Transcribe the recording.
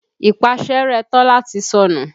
Ìpáṣẹ́rẹ́ Tọ́lá ti sọnù.